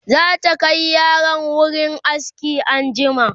zata Kai yaran wurin aski anjima